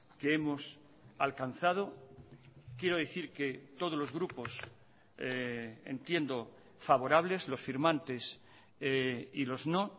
que hemos alcanzado quiero decir que todos los grupos entiendo favorables los firmantes y los no